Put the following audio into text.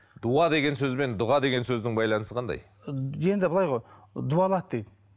дуа деген сөз бен дұға деген сөздің байланысы қандай енді былай ғой дуалады дейді